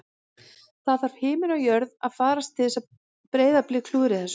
Það þarf himinn og jörð að farast til að Breiðablik klúðri þessu